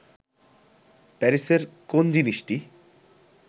প্যারিসের কোন জিনিসটি